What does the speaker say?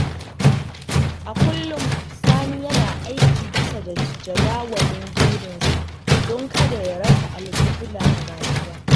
A kullum, Sani yana aiki bisa jadawalin burinsa don kada ya rasa alƙibla a rayuwa.